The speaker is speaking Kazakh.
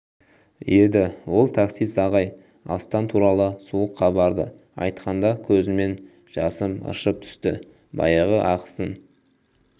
еді ол таксист ағай астан туралы суық хабарды айтқанда көзімнен жасым ыршып түсті баяғы ақысын